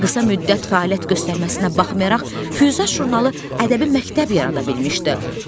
Qısa müddət fəaliyyət göstərməsinə baxmayaraq, "Füyuzat" jurnalı ədəbi məktəb yarada bilmişdi.